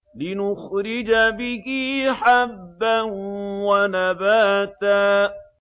لِّنُخْرِجَ بِهِ حَبًّا وَنَبَاتًا